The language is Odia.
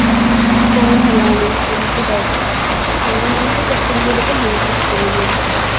କି କଣ ହେଲାଣି ଏମିତି type ର କାଇଁ ଆମ ମାନଙ୍କର social media ତ ବହୁତ କମ ଆସୁଛି